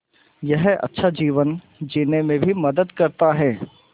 यह अच्छा जीवन जीने में भी मदद करता है